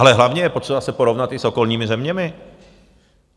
Ale hlavně je potřeba se porovnat i s okolními zeměmi.